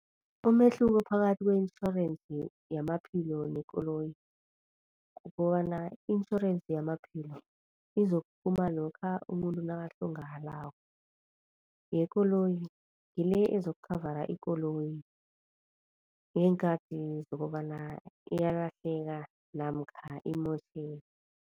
Umehluko phakathi kwe-intjhorensi yamaphilo nekoloyi kukobana i-intjhorense yamaphilo izokuphuma lokha umuntu nakahlongakalako. Yekoloyi ngile ezokukhavara ikoloyi ngeenkathi zokobana iyalahleka namkha imotjheke.